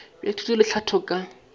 bja thuto le tlhahlo ka